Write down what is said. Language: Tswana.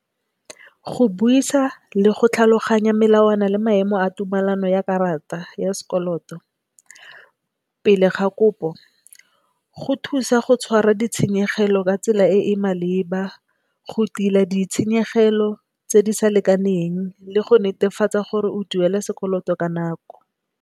Go buisa le go tlhaloganya melawana le maemo a tumelano ya karata ya sekoloto pele ga kopo go thusa go go tshwara ditshenyegelo ka tsela e e maleba go tila ditshenyegelo tse di sa lekaneng le go netefatsa gore o duela sekoloto ka nako.